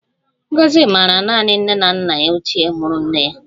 Ngozi maara naanị nne na nna ya ochie muru nne ya